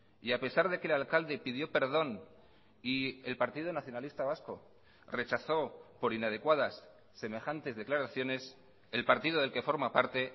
y a pesar de que el alcalde pidió perdón y el partido nacionalista vasco rechazó por inadecuadas semejantes declaraciones el partido del que forma parte